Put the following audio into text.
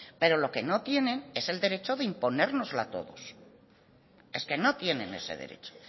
pero lo que no tienen es el derecho de imponérnoslo a todos es que no tienen ese derecho